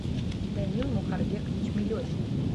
данил мухарбекович мелехин